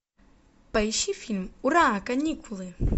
поищи фильм ура каникулы